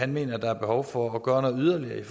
mener at der er behov for at gøre noget yderligere